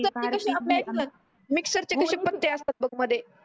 पत्ते कशे असतात मिक्सर चे कशे पत्ते असतात बग मध्ये